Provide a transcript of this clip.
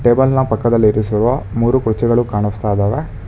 ಟೇಬಲ್ನ ಪಕ್ಕದಲ್ಲಿ ಇರಿಸುವ ಮೂರು ಕುರ್ಚಿಗಳು ಕಾಣಿಸ್ತಾ ಇದ್ದಾವೆ.